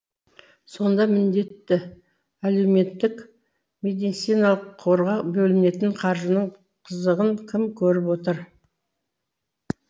сонда міндетті әлеуметтік медициналық қорға бөлінетін қаржының қызығын кім көріп отыр